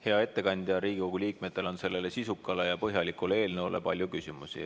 Hea ettekandja, Riigikogu liikmetel on selle sisuka ja põhjaliku eelnõu kohta palju küsimusi.